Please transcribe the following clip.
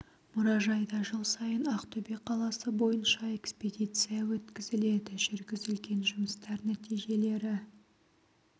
мұражайда жыл сайын ақтөбе қаласы бойынша экспедиция өткізіледі жүргізілген жұмыстар нәтижелері